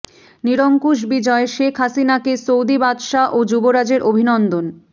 নিরঙ্কুশ বিজয়ে শেখ হাসিনাকে সৌদি বাদশাহ ও যুবরাজের অভিনন্দন